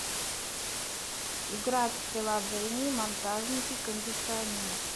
играть в приложение монтажники кондиционеров